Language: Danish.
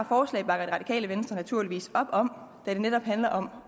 forslag bakker det radikale venstre naturligvis op om da det netop handler om